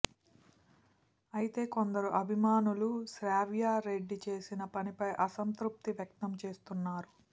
అయితే కొందరు అభిమానులు శ్రావ్యరెడ్డి చేసిన పనిపై అంతృప్తి వ్యక్తం చేస్తున్నారు